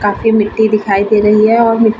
काफी मिट्टी दिखाई दे रही है और मी --